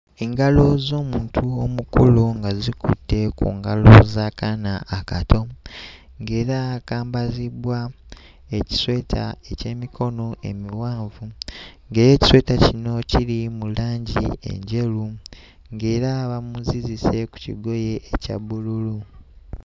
Engalo z'omuntu omukulu nga zikutte ku ngalo z'akaana akato ng'era kambazibbwa ekisweta eky'emikono emiwanvu ng'era ekisweta kino kiri mu langi enjeru ng'era bamuzizise ku kigoye ekya bbululu.